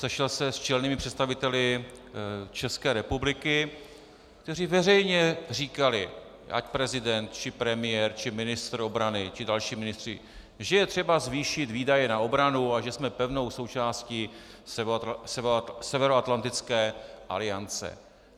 Sešel se s čelnými představiteli České republiky, kteří veřejně říkali, ať prezident či premiér či ministr obrany či další ministři, že je třeba zvýšit výdaje na obranu a že jsme pevnou součástí Severoatlantické aliance.